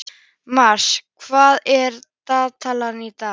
Mars, hvað er í dagatalinu í dag?